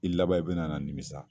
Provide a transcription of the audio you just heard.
I laban i bɛna na nimisa.